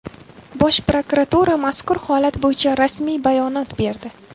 Bosh prokuratura mazkur holat bo‘yicha rasmiy bayonot berdi .